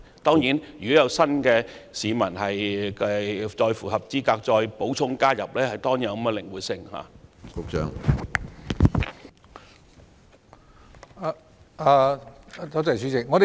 當然，如果下次有其他市民符合資格可以加入新的計劃，系統亦應靈活處理。